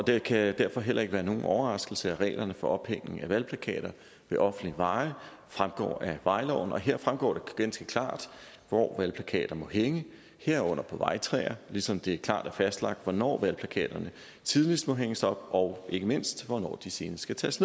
det kan derfor heller ikke være nogen overraskelse at reglerne for ophæng af valgplakater ved offentlige veje fremgår af vejloven og her fremgår det ganske klart hvor valgplakater må hænge herunder på vejtræer ligesom det klart er fastlagt hvornår valgplakaterne tidligst må hænges op og ikke mindst hvornår de senest skal tages